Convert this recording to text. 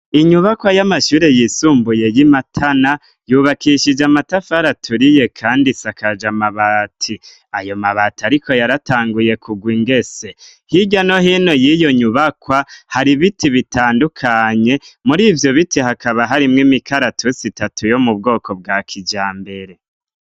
Inyubakwa y'amashure yisumbuye yi Matana yubakishije amatafari aturiye kandi isakaja amabati, ayo mabati ariko yaratanguye kugwa ingese hirya no hino yiyo nyubakwa hari ibiti bitandukanye murivyo biti hakaba harimwo imikaratusi itatu yo mu bwoko bwa kijambere.